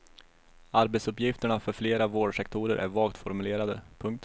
Arbetsuppgifterna för flera vårdsektorer är vagt formulerade. punkt